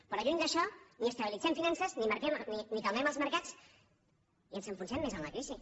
però lluny d’això ni estabilitzem finances ni calmem els mercats i ens enfonsem més en la crisi